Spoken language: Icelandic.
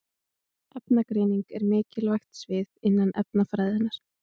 Efnagreiningar eru mikilvægt svið innan efnafræðinnar.